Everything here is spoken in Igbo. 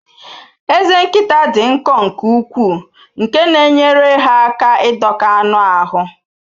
Ezé nkịta dị nkọ nke ukwuu nke na-enyere ha aka ịdọka anụ ahụ